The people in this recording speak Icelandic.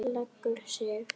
Leggur sig.